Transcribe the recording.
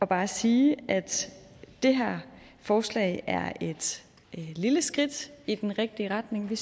bare sige at det her forslag er et lille skridt i den rigtige retning i